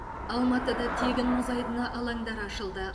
алматыда тегін мұз айдыны алаңдары ашылды